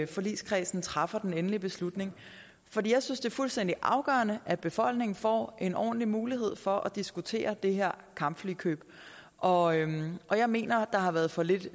forligskredsen træffer den endelige beslutning for jeg synes det er fuldstændig afgørende at befolkningen får en ordentlig mulighed for at diskutere det her kampflykøb og og jeg mener der har været for lidt